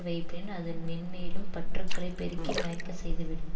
வைப்பின் அதுன் மேன்மேலும் பற்றுகளை பெருக்கி மயக்க செய்துவிடும்